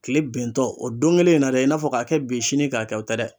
Kile bentɔ o don kelen in na dɛ i n'a fɔ k'a kɛ bi sini k'a kɛ o tɛ dɛ